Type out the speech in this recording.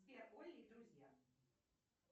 сбер олли и друзья